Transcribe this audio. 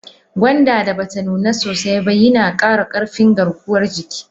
Gonda da bata nuna sosai ba yina kara karfin garkuwan jiki.